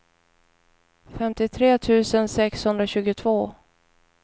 femtiotre tusen sexhundratjugotvå